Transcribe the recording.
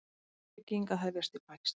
Uppbygging að hefjast í Pakistan